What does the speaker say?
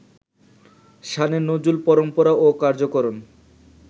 শানে নজুল, পরম্পরা ও কার্যকারণ